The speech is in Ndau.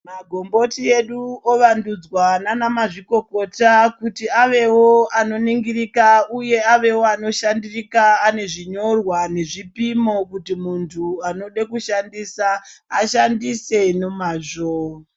Magomboti edu ova ndudzwa nevana mazvikokota kuti avewo anoningirika uye avewo anoshandirika anezvinyorwa nezvipimo kuti muntu anoda kushandisa ashandise ne mazvo.